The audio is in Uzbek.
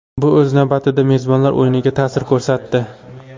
Bu o‘z navbatida mezbonlar o‘yiniga ta’sir ko‘rsatdi.